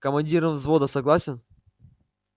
командиром взвода согласен